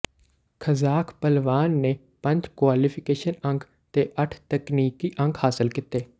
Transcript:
Kazakh ਭਲਵਾਨ ਨੇ ਪੰਜ ਕੁਆਲੀਫਿਕੇਸ਼ਨ ਅੰਕ ਤੇ ਅੱਠ ਤਕਨੀਕੀ ਅੰਕ ਹਾਸਲ ਕੀਤੇ